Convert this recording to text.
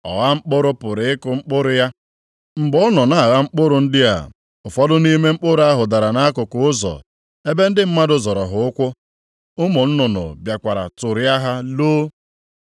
“Ọgha mkpụrụ pụrụ ịkụ mkpụrụ ya, mgbe ọ nọ na-agha mkpụrụ ndị a, ụfọdụ nʼime mkpụrụ ahụ dara nʼakụkụ ụzọ ebe ndị mmadụ zọrọ ha ụkwụ, ụmụ nnụnụ bịakwara tụrịa ha loo.